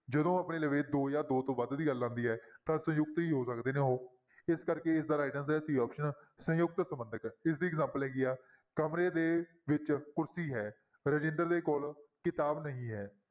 ਜਦੋਂ ਆਪਣੇ ਦੋ ਜਾਂ ਦੋ ਤੋਂ ਵੱਧ ਦੀ ਗੱਲ ਆਉਂਦੀ ਹੈ ਤਾਂ ਸੰਯੁਕਤ ਹੀ ਹੋ ਸਕਦੇ ਨੇ ਉਹ, ਇਸ ਕਰਕੇ ਇਸਦਾ right answer ਹੈ c option ਸੰਯੁਕਤ ਸੰਬੰਧਕ ਇਸਦੀ examples ਹੈਗੀ ਹੈ ਕਮਰੇ ਦੇ ਵਿੱਚ ਕੁਰਸੀ ਹੈ, ਰਜਿੰਦਰ ਦੇ ਕੋਲ ਕਿਤਾਬ ਨਹੀਂ ਹੈ।